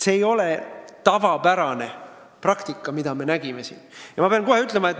See ei ole tavapärane praktika, mida me näinud oleme.